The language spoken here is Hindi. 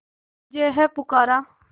तुझे है पुकारा